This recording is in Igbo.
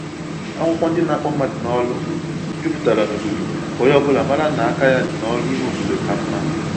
Akwụkwọ ndị na-akpọ mmadụ n’ọrụ juputara n'obodo, ka onye ọbụla mara na aka ya dị n’ọrụ ime obodo ka mma